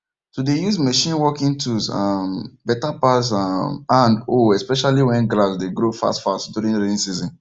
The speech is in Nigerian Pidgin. to dey use machine working tools um better pass um hand hoe especially when grass dey grow fastfast during rainy season